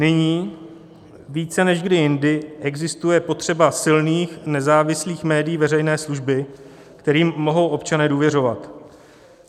Nyní více než kdy jindy existuje potřeba silných nezávislých médií veřejné služby, kterým mohou občané důvěřovat.